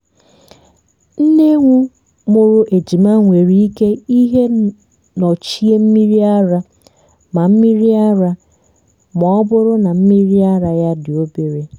nne ewu mụrụ ejima nwere ike ihe nnọchi mmiri ara ma mmiri ara ma ọ bụrụ na mmiri ara ya dị obere